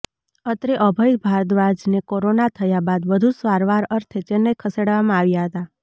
અત્રે અભય ભારદ્વાજને કોરોના થયા બાદ વધુ સારવાર અર્થે ચેન્નઇ ખસેડવામાં આવ્યા હતા